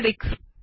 দেখা যাক কী হয়